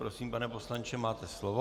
Prosím, pane poslanče, máte slovo.